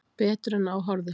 Betur en á horfðist.